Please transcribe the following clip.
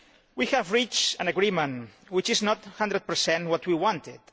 We have reached an agreement which is not one hundred per cent what we wanted.